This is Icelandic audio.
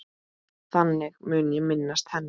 Þannig mun ég minnast hennar.